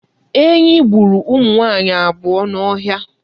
Enyi gburu ụmụ nwaanyị abụọ n'ọhịa.